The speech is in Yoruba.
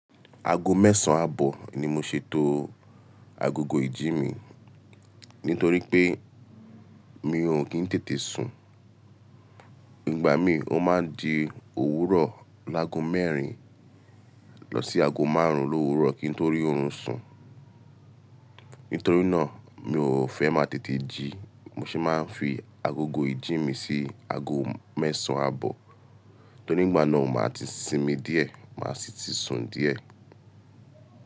Aago mẹ́sàn àbọ̀ ni mo ṣètò agogo ìjí mi nítorí pé mi ò kí ń tètè sùn. Nígbà mi ó máa ń di òwúrọ̀ lágo mẹ́rin lọ sí aago márùn-ún l'òwúrọ̀ kí n tó rí oorun sùn. Nítorí náà mi ò fẹ́ máa tètè jí mo ṣe máa ń fi agogo ìjí mi sí aago mẹ́sàn àbọ̀ tori ígbà náà màá ti sinmi díẹ̀, màá sì ti sun díẹ̀.